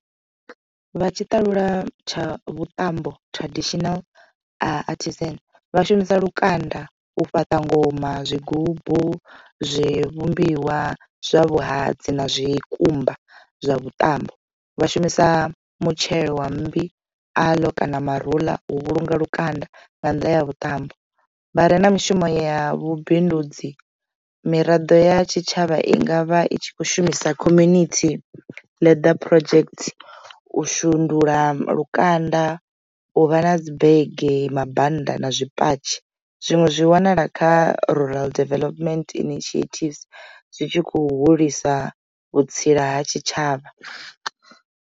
Vha tshi ṱalula tsha vhuṱambo traditional artisan vha shumisa lukanda u fhaṱa ngoma, zwigubu zwi vhumbiwa zwa vhuhadzi na zwikumba zwa vhuṱambo. Vha shumisa mutshelo wa mmbi, aloe kana maruḽa u vhulunga lukanda nga nnḓa ya vhuṱambo vha re na mishumo ya vhubindudzi miraḓo ya tshitshavha i ngavha i tshi kho shumisa community leather project u shundula lukanda u vha na dzi bege, mabannda na zwipatshi zwiṅwe zwi wanala kha rural development initiatives zwitshi khou hulisa vhutsila ha tshitshavha.